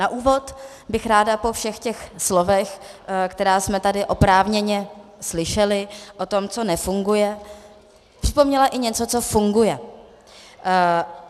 Na úvod bych ráda po všech těch slovech, která jsme tady oprávněně slyšeli o tom, co nefunguje, připomněla i něco, co funguje.